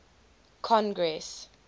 congress